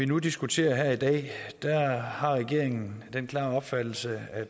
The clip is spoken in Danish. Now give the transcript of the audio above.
nu diskuterer her i dag har regeringen den klare opfattelse at